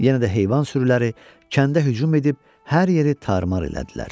Yenə də heyvan sürüləri kəndə hücum edib hər yeri tar-mar elədilər.